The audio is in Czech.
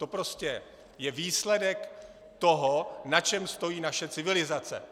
To je prostě výsledek toho, na čem stojí naše civilizace.